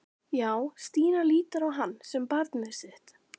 Já, Stína lítur á hann sem barnið sitt.